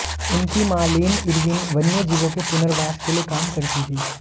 उनकी मां Lyn Irwin वन्य जीवों के पुनर्वास के लिए काम करती थीं